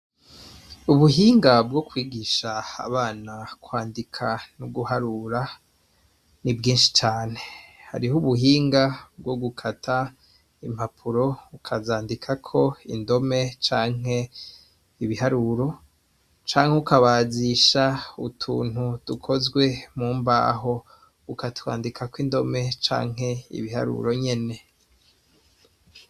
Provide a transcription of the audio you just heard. Ubuhinga bwokwigsha abana kwandika no guharura nibwinshi cane, hariho ubuhinga bwogukata impapuro bukazandikako indome canke ibiharuro canke ukabazisha utuntu dukozwe mumbaho ukatwandikako indome canke ibiharuro nyene.